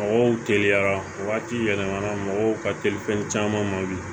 Mɔgɔw teliyara wagati yɛlɛmana mɔgɔw ka teli fɛn caman ma bi